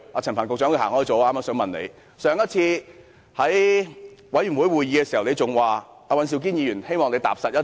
陳帆局長離開了，我正想問他，上次他在事務委員會聯席會議上表示希望尹兆堅議員能踏實一些。